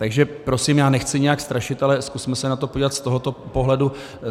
Takže prosím, já nechci nijak strašit, ale zkusme se na to podívat z tohoto pohledu.